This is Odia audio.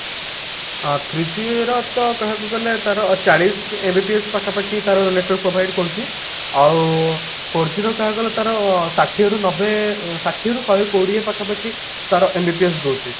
ଅ three G ର କହିବାକୁ ଗଲେ ତାର ଚାଳିଶି MBPS ପାଖାପାଖି ତାର network provide କରୁଛି ଆଉ four G ର କହିବାକୁ ଗଲେ ତାର ଷାଠିଏ ଋ ନବେ ଷାଠିଏ ରୁ ଶହେ କୋଡିଏ ପାଖାପାଖି ତାର MBPS ଦଉଛି